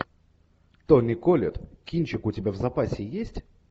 тони коллетт кинчик у тебя в запасе есть